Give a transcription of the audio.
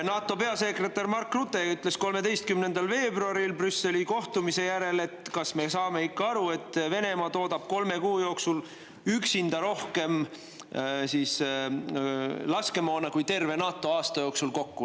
NATO peasekretär Mark Rutte ütles 13. veebruaril Brüsseli kohtumise järel, et kas me saame ikka aru, et Venemaa toodab kolme kuu jooksul üksinda rohkem laskemoona kui terve NATO aasta jooksul kokku.